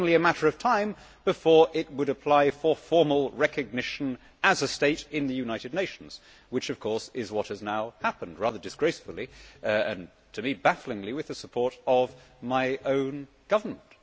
It was only a matter of time before it would apply for formal recognition as a state in the United Nations, which, of course, is what has now happened, with rather disgracefully and to me bafflingly the support of my own government.